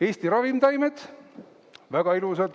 "Eesti ravimtaimed", väga ilus.